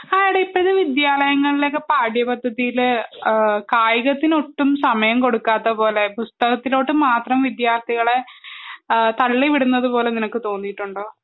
ആഹ് എടി ഇപ്പൊ വിദ്യാലയങ്ങളിലൊക്കെ കായികത്തിനു ഒട്ടും സമയം കൊടുക്കാത്തപോലെ പുസ്തകത്തിലോട്ട് മാത്രം വിദ്യാർത്ഥികളെ തള്ളിവിടുന്നത് പോലെ നിനക്ക് തോന്നിയിട്ടുണ്ടോ